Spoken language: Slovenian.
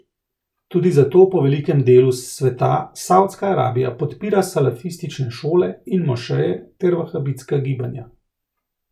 Tudi zato po velikem delu sveta Saudska Arabija podpira salafistične šole in mošeje ter vahabitska gibanja.